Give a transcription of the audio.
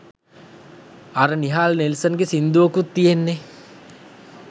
අර නිහාල් නෙල්සන් ගේ සින්දුවකුත් තියෙන්නේ!